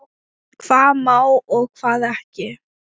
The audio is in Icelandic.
Hvað má og hvað ekki.